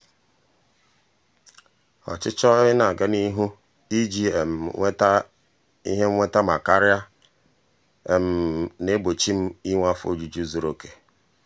ọchịchọ ị na-aga n'ihu iji um nweta ihe nnweta ma karia na-egbochi m um inwe afọ ojuju zuru oke.